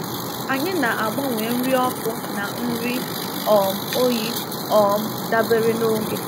Anyị na-agbanwe nri ọkụ na nri um oyi um dabere n’oge.